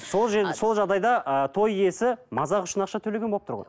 сол сол жағдайды ыыы той иесі мазақ үшін ақша төлеген болып тұр ғой